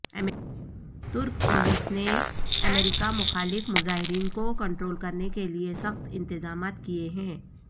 ترک پولیس نے امریکہ مخالف مظاہرین کو کنٹرول کرنے کے لیے سخت انتظامات کیے ہیں